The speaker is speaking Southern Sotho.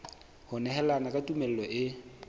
ho nehelana ka tumello e